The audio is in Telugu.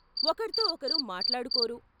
ఒకర్తో ఒకరు మాట్లాడుకోరు.